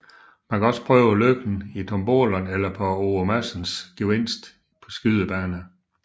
Man kan også prøve lykken i tombolaen eller på Ove Madsens gevinst skydebane